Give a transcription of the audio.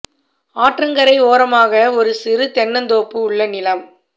ஆற்றங்கரை ஓரமாக ஒரு சிறு தென்னந் தோப்பு உள்ள நிலம்